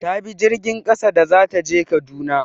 Ta bi jirgin ƙasa da za ta je Kaduna.